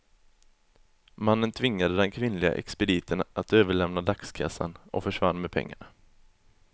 Mannen tvingade den kvinnliga expediten att överlämna dagskassan, och försvann med pengarna.